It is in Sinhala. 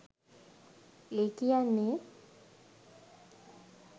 ඒ කියන්නෙ